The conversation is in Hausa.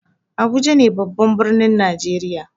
Abuja ne babban birnin najeriya.